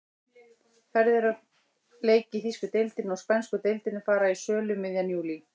Ferðir á leiki í þýsku deildinni og spænsku deildinni fara í sölu um miðjan júlí.